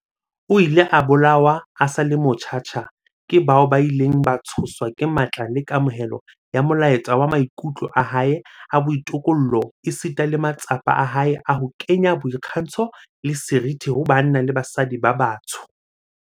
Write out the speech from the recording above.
O ile a bolawa a sa le motjha tjha ke bao ba ileng ba tshoswa ke matla le kamohelo ya molaetsa wa maikutlo a hae a boitokollo esita le matsapa a hae a ho kenya boikgantsho le seriti ho banna le basadi ba batsho.